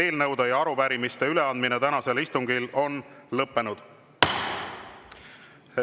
Eelnõude ja arupärimiste üleandmine tänasel istungil on lõppenud.